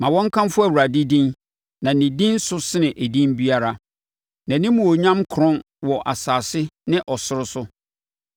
Ma wɔnkamfo Awurade din, na ne din so sene edin biara; nʼanimuonyam korɔn wɔ asase ne ɔsoro so.